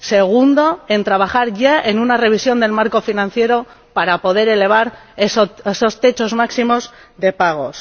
Segunda trabajar ya en una revisión del marco financiero para poder elevar esos límites máximos de pagos.